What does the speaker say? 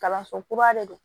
Kalanso kura de do